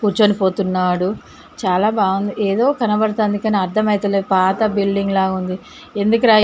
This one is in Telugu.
కూర్చుని పోతున్నాడు చాలా బాగుంది ఏదో కనబడుతుంది కానీ అర్థమైతే లేదు పాత బిల్డింగు లా ఉన్నది.